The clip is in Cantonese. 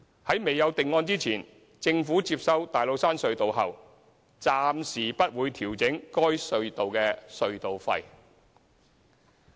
在未有定案前，政府接收大老山隧道後暫時不會調整該隧道的隧道費。